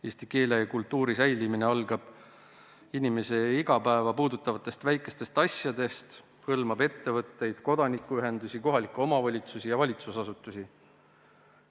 Eesti keele ja kultuuri säilimine algab inimese igapäeva puudutavatest väikestest asjadest, hõlmab ettevõtteid, kodanikuühendusi, kohalikke omavalitsusi ja valitsusasutusi.